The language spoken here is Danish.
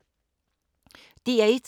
DR1